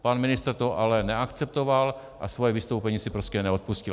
Pan ministr to ale neakceptoval a svoje vystoupení si prostě neodpustil.